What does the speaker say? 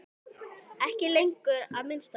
Ekki lengur, að minnsta kosti.